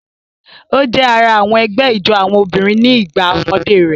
O jẹ àrà àwọn ẹgbẹ ijó àwọn obìnrin ní igbà ọmọdé rẹ.